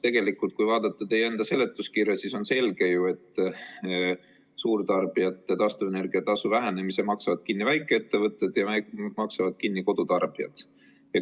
Tegelikult, kui vaadata teie enda seletuskirja, siis on ju selge, et suurtarbijate taastuvenergia tasu vähenemise maksavad kinni väikeettevõtted ja kodutarbijad.